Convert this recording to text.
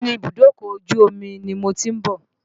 Bẹ́ẹ̀ni, ibùdókọ̀ ojú omi ni mo ti ń bọ̀.